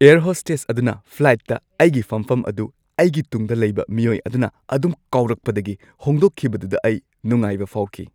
Air hostess ꯑꯗꯨꯅ ꯐ꯭ꯂꯥꯏꯠꯇ ꯑꯩꯒꯤ ꯐꯝꯐꯝ ꯑꯗꯨ ꯑꯩꯒꯤ ꯇꯨꯡꯗ ꯂꯩꯕ ꯃꯤꯑꯣꯏ ꯑꯗꯨꯅ ꯑꯗꯨꯝ ꯀꯥꯎꯔꯛꯄꯗꯒꯤ ꯍꯣꯡꯗꯣꯛꯈꯤꯕꯗꯨꯗ ꯑꯩ ꯅꯨꯡꯉꯥꯏꯕ ꯐꯥꯎꯈꯤ꯫